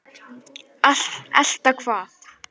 Elta hvað?